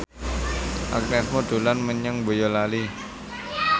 Agnes Mo dolan menyang Boyolali